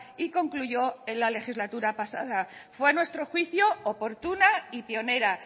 y concluyó en la legislatura pasada fue a nuestro juicio oportuna y pionera